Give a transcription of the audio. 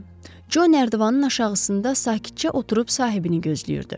Co Nərdivanın aşağısında sakitcə oturub sahibini gözləyirdi.